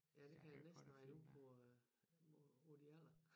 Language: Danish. Ja det kan jeg næsten regne ud på øh på din alder